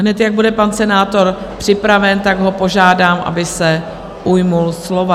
Hned jak bude pan senátor připraven, tak ho požádám, aby se ujal slova.